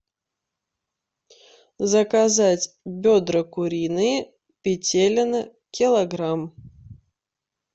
заказать бедра куриные петелино килограмм